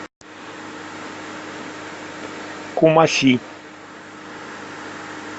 кумаси